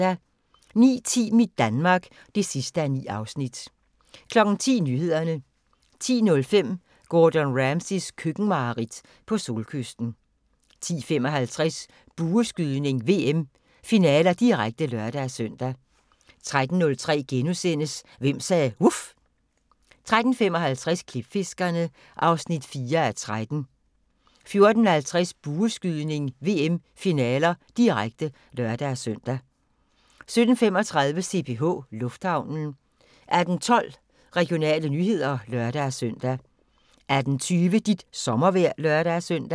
09:10: Mit Danmark (9:9) 10:00: Nyhederne 10:05: Gordon Ramsays køkkenmareridt - på solkysten 10:55: Bueskydning: VM - finaler, direkte (lør-søn) 13:05: Hvem sagde vuf? * 13:55: Klipfiskerne (4:13) 14:50: Bueskydning: VM - finaler, direkte (lør-søn) 17:35: CPH Lufthavnen 18:12: Regionale nyheder (lør-søn) 18:20: Dit sommervejr (lør-søn)